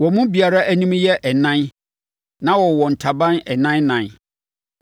wɔn mu biara anim yɛ ɛnan na wɔwowɔ ntaban ɛnan ɛnan.